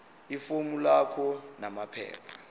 ifomu lakho namaphepha